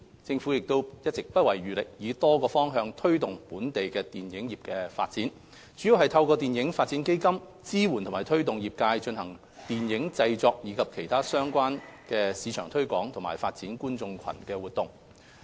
政府一直不遺餘力以多種方向推動本地電影業發展，主要是透過電影發展基金，支援和推動業界進行電影製作，以及其他市場推廣及發展觀眾群的活動。